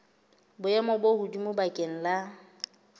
boemong bo hodimo bakeng la